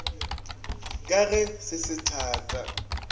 ka ge se se thata